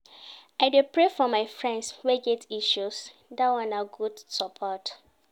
I dey pray for my friends wey get issues, dat one na good support.